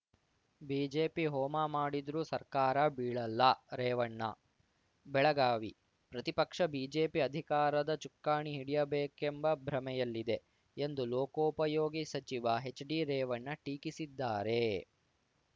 BJP ಹೋಮ ಮಾಡಿದ್ರೂ ಸರ್ಕಾರ ಬೀಳಲ್ಲ ರೇವಣ್ಣ ಬೆಳಗಾವಿ ಪ್ರತಿಪಕ್ಷ ಬಿಜೆಪಿ ಅಧಿಕಾರದ ಚುಕ್ಕಾಣಿ ಹಿಡಿಯಬೇಕೆಂಬ ಭ್ರಮೆಯಲ್ಲಿದೆ ಎಂದು ಲೋಕೋಪಯೋಗಿ ಸಚಿವ ಹೆಚ್‌ಡಿರೇವಣ್ಣ ಟೀಕಿಸಿದ್ದಾರೆ